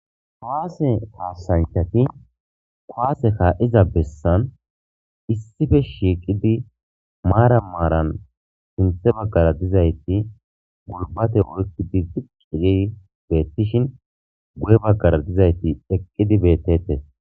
Kuwaase hasanchati kwaase kaa'iza bessan issife shiiqidi maara maaran sinthe bagkara dizayti gurbate oykkidi fuqige beettishin gu'e bagkara dizayti eqqidi beettete.